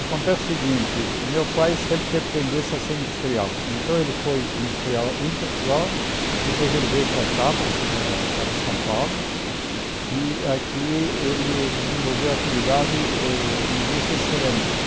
Acontece o seguinte, meu pai sempre teve tendência a ser industrial, então ele foi industrial em Portugal, depois ele veio para cá, para eh para São Paulo, e aqui ele desenvolveu a atividade eh em indústria cerâmica.